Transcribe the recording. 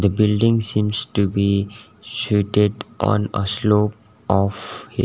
building seems to be suated on a slope of hill.